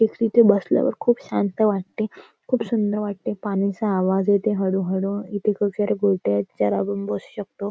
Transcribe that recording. तिथे बसल्यावर खूप शांत वाटते खूप सुंदर वाटते पाण्याचा आवाज येतोय हळूहळू इथे ज्यावर आपण बसू शकतो.